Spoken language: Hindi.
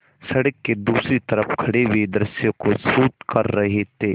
सड़क के दूसरी तरफ़ खड़े पूरे दृश्य को शूट कर रहे थे